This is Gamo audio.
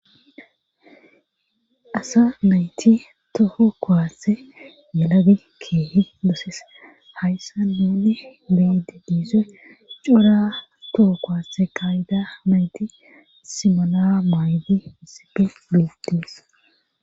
Asa mayti toho kowasse yelabi keehe doses hayssa nunne beyide diisoy cora toho kowaase kayida mayti simola maaydi misipi diities